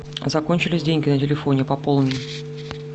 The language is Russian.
закончились деньги на телефоне пополни